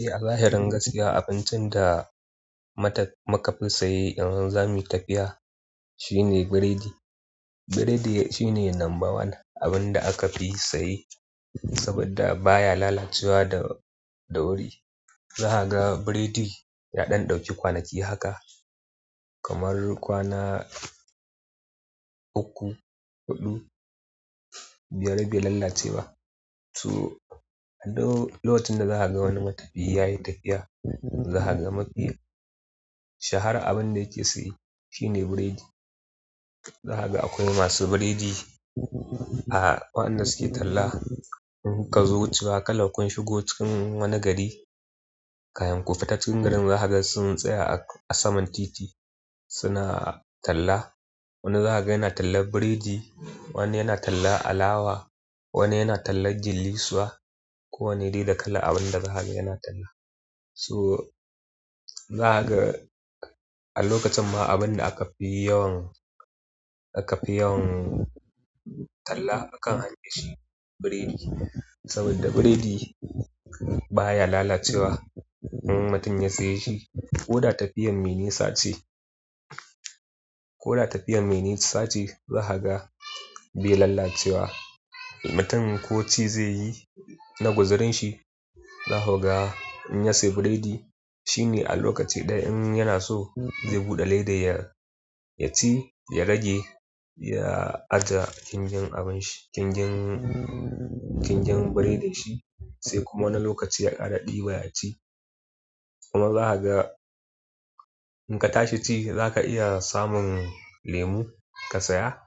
Eh a zahirin gaskiya abincin da mata-- mukafi sa ye in zami yi tafiya shine burodi. Burodi shine lamba one abin da aka fi saye saboda baya lalacewa da, da wuri. Za ka ga burodi ya ɗan ɗauki kwanaki haka kamar kwana uku, huɗu, biyar bai lalace ba. To, a duk-- lokacin da za ka ga wani matafiyi ya yi tafiya, za ka ga mafi shahara abin da yake saye shine burodi. Za ka ga akwai masu burodi a waɗanda suke talla. In ka zo wucewa kalan kun shigo cikin wani gari, kafin ku fita cikin garin za ku ga sun tsaya a saman titi suna talla. Wani za ka ga yana tallan burodi, wani yana tallan alawa, wani yana talla gullisuwa, kowanne dai da kalan abin da za ka ga yana talla. So za ka ga a lokacin ma abin da aka fi yawan, aka fi yawan talla akan hanya shi ne burodi. Saboda burodi baya lalacewa in mutum ya saye shi. Ko da tafiyar mai nisa ce ko da tafiyar mai nisa ce za ka ga bai lalacewa. Mutum ko ci zai yi na guzurinshi, za ku ga in ya sayi burodi shine a lokaci ɗaya in yana so zai buɗe ledar ya, ya ci ya rage ya ajiye ƙinƙyin abin shi. Ƙinƙyin, ƙinƙyin burodin shi sai kuma wani lokaci ya ƙara ɗiba ya ci. Kuma za ka ga in ka tashi ci za ka iya samun lemu ka saya.